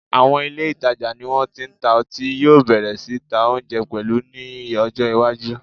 Àwọn ilé ìtajà tí wọ́n ti ń ta ọtí yóò bẹ̀rẹ̀ sí ta oúnjẹ pẹ̀lú ní ọjọ́ iwájú